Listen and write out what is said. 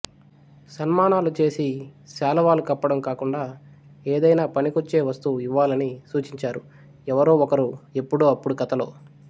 సన్మానాలు చేసి శాలువాలు కప్పటం కాకుండా ఏదైనా పనికొచ్చే వస్తువు ఇవ్వాలని సూచించారు ఎవరో ఒకరు ఎపుడో అపుడు కథలో